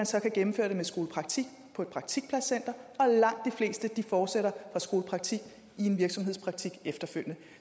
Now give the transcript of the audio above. så at gennemføre det via skolepraktik på et praktikpladscenter og langt de fleste fortsætter fra skolepraktik i en virksomhedspraktik efterfølgende